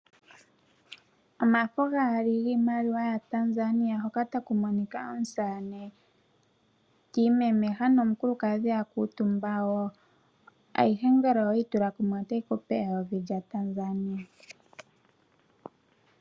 Omafo gaali ngiimaliwa ya Tanzania, hoka takuminika omusaane timemeha omukulukadhi akutumba wo, ayihe ngele oweyitula kumwe otayikupe eyovi lya Tanzania.